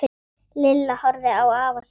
Lilla horfði á afa sinn.